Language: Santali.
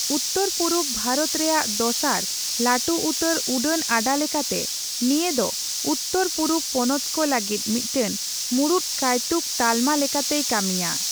ᱩᱛᱛᱟᱹᱨᱼᱯᱩᱨᱩᱵᱽ ᱵᱷᱟᱨᱚᱛ ᱨᱮᱭᱟᱜ ᱫᱚᱥᱟᱨ ᱞᱟᱹᱴᱩ ᱩᱛᱟᱹᱨ ᱩᱰᱟᱹᱱ ᱟᱰᱟ ᱞᱮᱠᱟᱛᱮ, ᱱᱤᱭᱟᱹ ᱫᱚ ᱩᱛᱛᱟᱹᱨᱼᱯᱩᱨᱩᱵᱽ ᱯᱚᱱᱚᱛ ᱠᱚ ᱞᱟᱹᱜᱤᱫ ᱢᱤᱫᱴᱮᱱ ᱢᱩᱲᱩᱫ ᱠᱟᱹᱭᱛᱩᱠ ᱛᱟᱞᱢᱟ ᱞᱮᱠᱟᱛᱮᱭ ᱠᱟᱹᱢᱤᱭᱟ ᱾